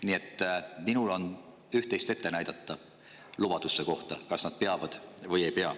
Nii et minul on üht-teist ette näidata oma lubaduste kohta, kas nad peavad või ei pea.